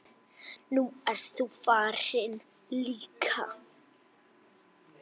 Nú ert þú farin líka.